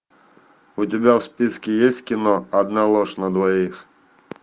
у тебя в списке есть кино одна ложь на двоих